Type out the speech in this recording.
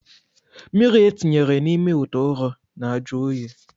Mmiri etinyere n'ime itè ụrọ na-ajụ oyi.